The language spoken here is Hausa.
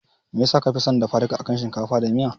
Me yasa kafi son dafa duka akan shinkafa da miya?